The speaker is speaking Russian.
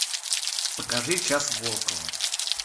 покажи час волкова